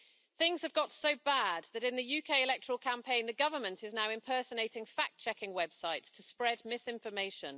Things have got so bad that in the UK electoral campaign the government is now impersonating fact checking websites to spread misinformation.